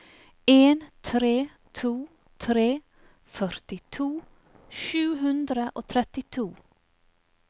en tre to tre førtito sju hundre og trettito